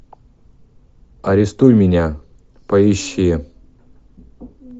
арестуй меня поищи